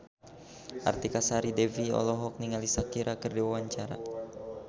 Artika Sari Devi olohok ningali Shakira keur diwawancara